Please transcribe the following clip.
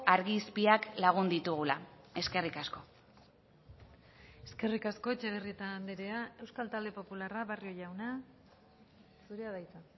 argi izpiak lagun ditugula eskerrik asko eskerrik asko etxebarrieta andrea euskal talde popularra barrio jauna zurea da hitza